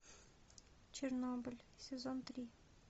чернобыль сезон три